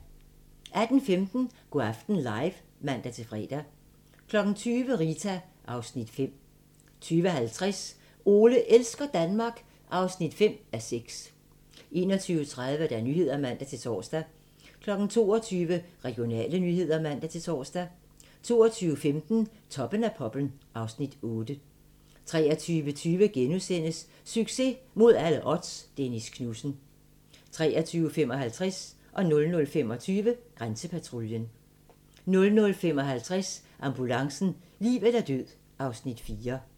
18:15: Go' aften live (man-fre) 20:00: Rita (Afs. 5) 20:50: Ole elsker Danmark (5:6) 21:30: Nyhederne (man-tor) 22:00: Regionale nyheder (man-tor) 22:15: Toppen af poppen (Afs. 8) 23:20: Succes mod alle odds - Dennis Knudsen * 23:55: Grænsepatruljen 00:25: Grænsepatruljen 00:55: Ambulancen - liv eller død (Afs. 4)